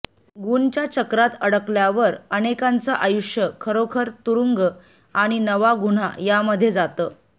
गुनच्या चक्रात अडकल्यावर अनेकांचं आयुष्य खरोखर तुरुंग आणि नवा गुन्हा यामध्ये जातं